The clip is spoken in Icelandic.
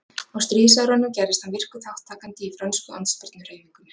á stríðsárunum gerðist hann virkur þátttakandi í frönsku andspyrnuhreyfingunni